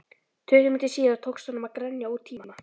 Tuttugu mínútum síðar tókst honum að grenja út tíma